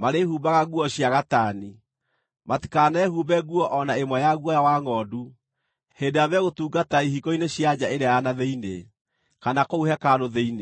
marĩĩhumbaga nguo cia gatani; matikanehumbe nguo o na ĩmwe ya guoya wa ngʼondu hĩndĩ ĩrĩa megũtungata ihingo-inĩ cia nja ĩrĩa ya na thĩinĩ, kana kũu hekarũ thĩinĩ.